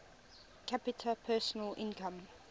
capita personal income